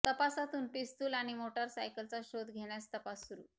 तपासातून पिस्तुल आणि मोटार सायकलचा शोध घेण्यास तपास सुरु